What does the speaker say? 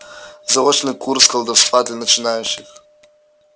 заочный курс колдовства для начинающих